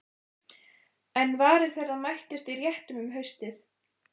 En varir þeirra mættust í réttum um haustið.